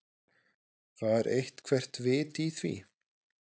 Var eitthvert vit í því?